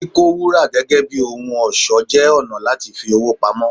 Kíkó Wúrà gẹ́gẹ́ bí ohun ọ̀ṣọ́ jẹ́ ọ̀nà láti fi owó pamọ́.